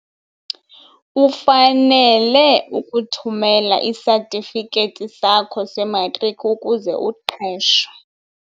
Ufanele ukuthumela isatifikethi sakho sematriki ukuze uqeshwe.